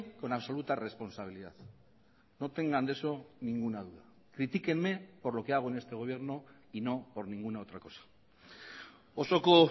con absoluta responsabilidad no tengan de eso ninguna duda critíquenme por lo que hago en este gobierno y no por ninguna otra cosa osoko